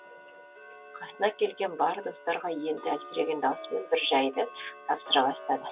қасына келген бар достарға енді әлсіреген даусымен бір жайды тапсыра бастады